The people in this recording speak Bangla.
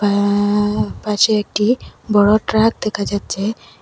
আ পাশে একটি বড় ট্রাক দেখা যাচ্ছে।